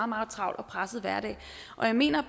meget travl og presset hverdag og der mener